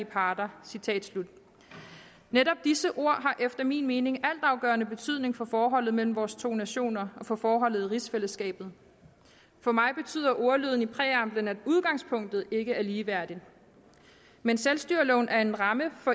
parter netop disse ord har efter min mening altafgørende betydning for forholdet mellem vores to nationer og for forholdet i rigsfællesskabet for mig betyder ordlyden i præamblen at udgangspunktet ikke er ligeværdigt men selvstyreloven er en ramme